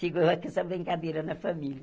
Chegou lá com essa brincadeira na família.